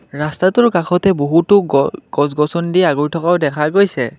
ৰাস্তাটোৰ কাষতেই বহুতো গ গছ গছনিদি আগুৰি থকাও দেখা গৈছে।